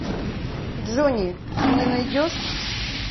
джонни ты мне найдешь